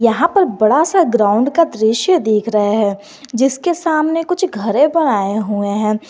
यहां पर बड़ा सा ग्राउंड का दृश्य दिख रहा है जिसके सामने कुछ घरे बनाए हुए हैं।